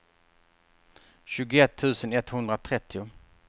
tjugoett tusen etthundratrettio